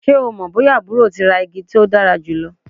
Ṣe o mọ boya aburo ti ra igi to dara julọ?